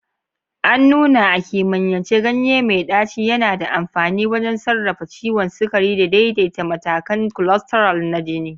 An nuna a kimiyyance ganye mai ɗaci yana da amfani wajen sarrafa ciwon sukari da daidaita matakan cholesterol na jini.